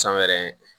San wɛrɛ